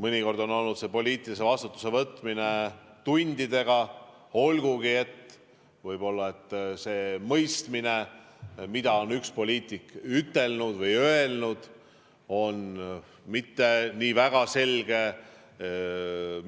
Mõnikord on toimunud poliitilise vastutuse võtmine tundidega, olgugi et võib-olla see mõistmine, mida on üks poliitik öelnud, ei olnud mitte nii väga selge,